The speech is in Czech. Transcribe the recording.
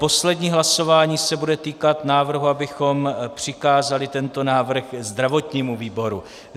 Poslední hlasování se bude týkat návrhu, abychom přikázali tento návrh zdravotnímu výboru.